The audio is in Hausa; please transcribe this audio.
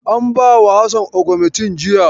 An bawa Hassan agumentin jiya.